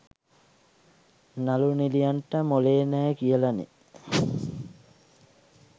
නළු නිළියන්ට මොළේ නෑ කියලනේ.